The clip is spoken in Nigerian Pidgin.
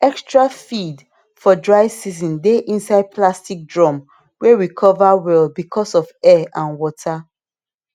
extra feed for dry season dey inside plastic drum wey we cover well because of air and water